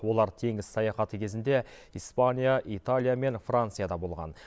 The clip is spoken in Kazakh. олар теңіз саяхаты кезінде испания италия мен францияда болған